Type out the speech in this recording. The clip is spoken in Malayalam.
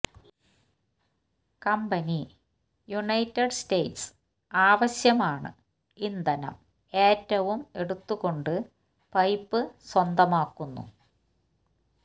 കമ്പനി യുണൈറ്റഡ് സ്റ്റേറ്റ്സ് ആവശ്യമാണ് ഇന്ധനം ഏറ്റവും എടുത്തുകൊണ്ടു പൈപ്പ് സ്വന്തമാക്കുന്നു